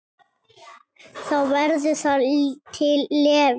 Þá verður það til Levís.